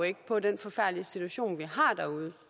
ikke på den forfærdelige situation vi har derude